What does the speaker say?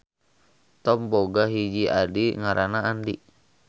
Thom boga hiji adi ngaranna Andy.